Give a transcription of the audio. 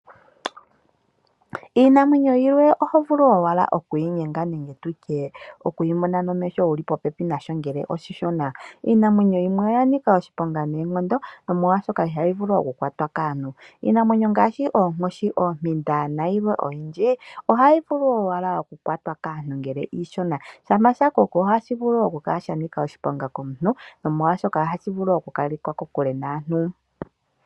Iinamwenyo yilwe oho vulu wala okuyi nyenga nenge tutye oku yimona nomesho wuli po pepi nasho ngele oshi shona. Iinamwenyo yimwe oya nika oshiponga noonkondo omolwashoka ihayi vulu oku kwata kaantu. Iinamwenyo ngashi oonkoshi, oompinda na yilwe oyindji, ohayi vule owala oku kwatwa kaantu ngele iishona, shampa sha koko ohashi vulu oku kala shanika oshiponga kaantu nomolwashoka ohashi vulu oku kalekwa kokule naantu.